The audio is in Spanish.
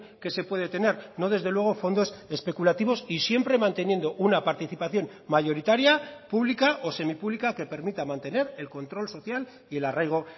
que se puede tener no desde luego fondos especulativos y siempre manteniendo una participación mayoritaria pública o semipública que permita mantener el control social y el arraigo